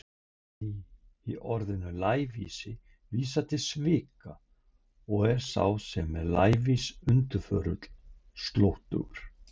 Læ- í orðinu lævísi vísar til svika og er sá sem er lævís undirförull, slóttugur.